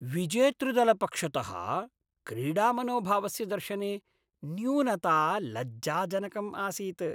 विजेतृदलपक्षतः क्रीडामनोभावस्य दर्शने न्यूनता लज्जाजनकम् आसीत्।